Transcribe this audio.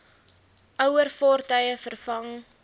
ouer vaartuie vervang